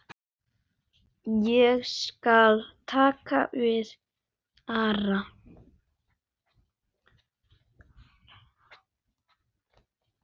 Ég skal taka við Ara.